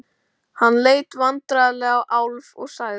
Hann leit vandræðalega á Álf og sagði